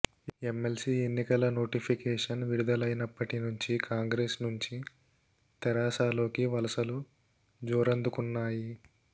MLC ఎన్నికల notification విడుదలైనప్పటి నుంచి కాంగ్రెస్ నుంచి తెరాసలోకి వలసలు జోరందుకున్నాయి